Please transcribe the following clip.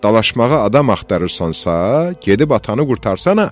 Dalaşmağa adam axtarırsansa, gedib atanı qurtarsana.